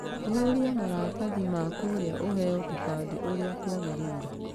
Ihũria maratathi ma kũria ũheo kĩbandĩ ũrĩa kwagĩrĩire.